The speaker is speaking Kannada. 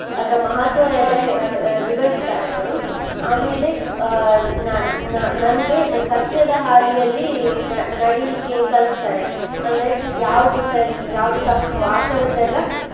ಅದರ ಮಹತ್ವವೆಲ್ಲಾ ಹೇ~ ವಿವರಿಸ್ತಾರೆ ಅವ್ರು. ಆಮೇಲೆ ಆ ನ~ ನ~ ನನ್ಗೆ ಸತ್ಯದ ಹಾದಿಯಲ್ಲಿ ನ~ ನಡಿಲಿಕ್ಕೆ ಕಲ್ಸ್ತಾರೆ. ಅಂದ್ರೆ ಯಾವ್ದು ಸರಿ ಯಾವ್ದು ತಪ್ಪು ಆ ತರದ್ದೆಲ್ಲಾ